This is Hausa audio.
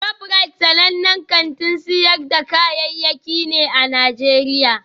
ShopRite sanannen kantin sayar da kayayyaki ne a Najeriya